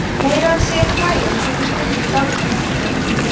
meira að segja þrælar fengu stundum dálitla menntun